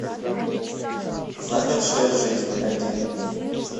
замершая жизнь найди